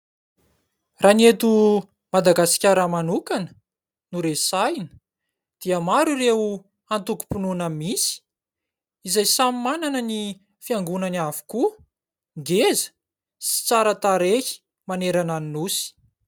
Raha ny eto Madagasikara manokana no resahina dia maro ireo antokom-pinoana misy izay samy manana ny fiangonany avokoa. Ngeza sy tsara tarehy manerana ny nosy.